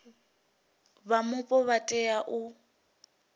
vha mupo vha tea u